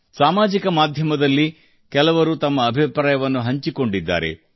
ಸಾಮಾಜಿಕ ಮಾಧ್ಯಮದಲ್ಲಿ ಕೂಡಾ ಹಲವರು ತಮ್ಮ ಅಭಿಪ್ರಾಯ ಹಂಚಿಕೊಂಡಿದ್ದಾರೆ